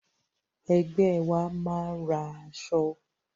Ẹgbẹ́ wa máa ra aṣọ.